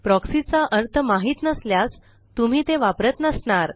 proxy चा अर्थ माहित नसल्यास तुम्ही ते वापरत नसणार